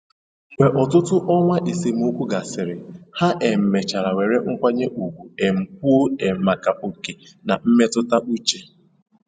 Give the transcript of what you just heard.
Mgbe ọtụtụ ọnwa esemokwu gasịrị, ha um mechara were nkwanye ùgwù um kwuo um maka oke na mmetụta uche